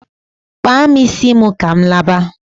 Kpaa m isi ka m laba!